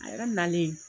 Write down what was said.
A yɛrɛ nalen